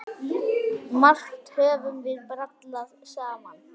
Margt höfum við brallað saman.